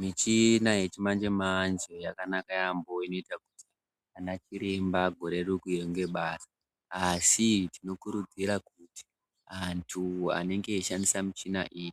Michina yechimanje-manje yakanaka yaambo inoita kuti anachiremba arerukirwe ngebasa asi tinokurudzira kuti antu anenge eishandisa michina iyi